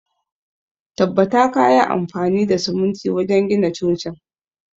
Tabbata kayi amfani da siminti wajen gina cocin!